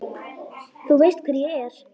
Þú veist hver ég er.